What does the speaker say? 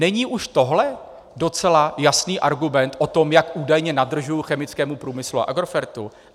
Není už tohle docela jasný argument o tom, jak údajně nadržuji chemickému průmyslu a Agrofert?